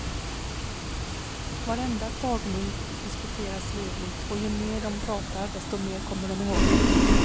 Varenda tagning diskuteras livligt och ju mer de pratar desto mer kommer de ihåg.